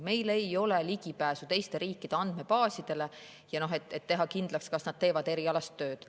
Meil ei ole ligipääsu teiste riikide andmebaasidele, et teha kindlaks, kas nad teevad erialast tööd.